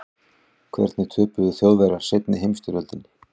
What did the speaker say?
hvernig töpuðu þjóðverjar seinni heimsstyrjöldinni